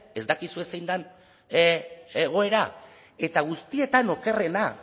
ez dakizue zein den egoera eta guztietan okerrena